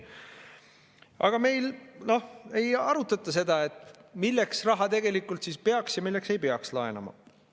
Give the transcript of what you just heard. Aga meil ei arutata seda, milleks raha tegelikult peaks ja milleks ei peaks laenama.